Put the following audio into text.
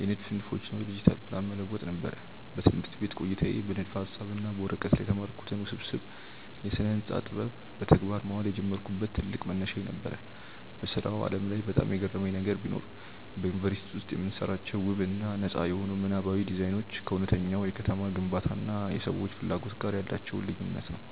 የንድፍ ንድፎችን ወደ ዲጂታል ፕላን መለወጥ ነበር። በትምህርት ቤት ቆይታዬ በንድፈ-ሐሳብ እና በወረቀት ላይ የተማርኩትን ውስብስብ የስነ-ህንፃ ጥበብ በተግባር ማዋል የጀመርኩበት ትልቅ መነሻዬ ነበር። በሥራው ዓለም ላይ በጣም የገረመኝ ነገር ቢኖር፣ በዩኒቨርሲቲ ውስጥ የምንሰራቸው ውብ እና ነጻ የሆኑ ምናባዊ ዲዛይኖች ከእውነተኛው የከተማ ግንባታ እና የሰዎች ፍላጎት ጋር ያላቸው ልዩነት ነው።